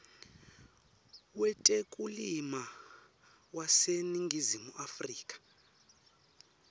wetekulima waseningizimu afrika